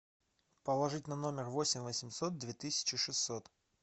положить на номер восемь восемьсот две тысячи шестьсот